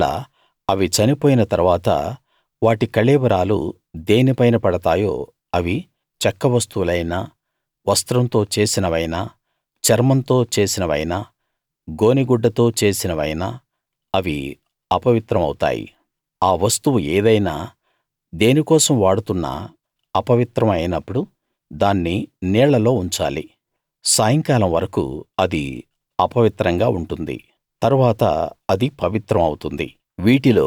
ఒకవేళ అవి చనిపోయిన తరువాత వాటి కళేబరాలు దేని పైన పడతాయో అవి చెక్క వస్తువులైనా వస్త్రంతో చేసినవైనా చర్మంతో చేసినవైనా గోనె గుడ్డతో చేసినవైనా అవి అపవిత్రం అవుతాయి ఆ వస్తువు ఏదైనా దేనికోసం వాడుతున్నా అపవిత్రం అయినప్పుడు దాన్ని నీళ్ళలో ఉంచాలి సాయంకాలం వరకూ అది అపవిత్రంగా ఉంటుంది తరువాత అది పవిత్రం అవుతుంది